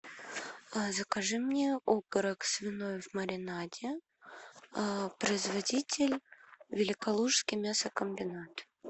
закажи мне окорок свиной в маринаде производитель великолукский мясокомбинат